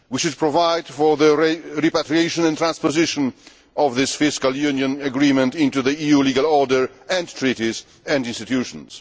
We should provide for the repatriation and transposition of this fiscal union agreement into the EU legal order and treaties and institutions.